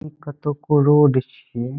इ कतोको रोड छीए।